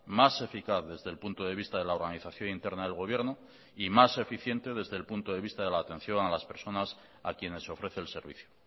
más eficaz desde el punto de vista de la organización interna del gobierno y más eficiente desde el punto de vista de la atención a las personas a quienes ofrece el servicio